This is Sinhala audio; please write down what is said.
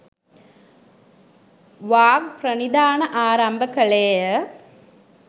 වාග්ප්‍රනිධාන ආරම්භ කළේ ය.